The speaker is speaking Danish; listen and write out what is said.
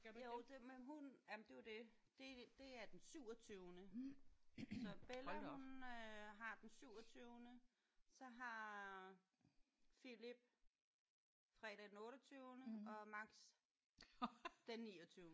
Jo det men hun jamen det er jo det. Det det er den syvogtyvende. Så Bella hun øh har den syvogtyvende så har Philip fredag den otteogtyvende og Max den niogtyvende